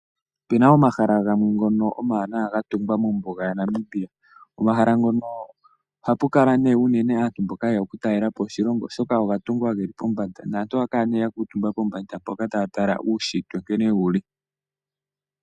Opuna omahala gamwe ngono omawanawa ga tungwa mombuga yaNamibia. Omahala ngono ohapu kala nee unene aantu mboka yeya okutalelapo oshilongo oshoka oga tungwa geli pombanda naantu ohaya kala nee ya kuutumba pombanda mpoka taya tala uushitwe sho wuli.